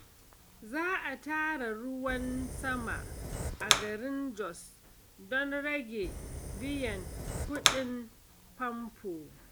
Za a tara ruwan sama a garin Jos don rage biyan kuɗin famfo.